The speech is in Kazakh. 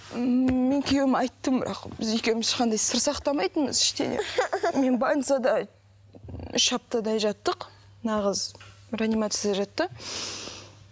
ммм мен күйеуіме айттым бірақ біз екеуіміз ешқандай сыр сақтамайтынбыз ештеңе мен больницада үш аптадай жаттық мына қыз реанимацияда жатты